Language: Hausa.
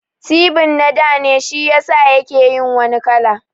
Tibin na dane shiyasa yake yin wani kala